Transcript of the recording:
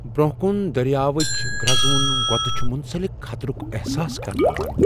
برونٛہہ كُن درِیاوٕچ گرزونۍ گٕتھ چھِ مُنسلک خطرُک احساس كرناوان ۔